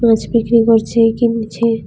মাছ বিক্রি করছে একি মেছে ।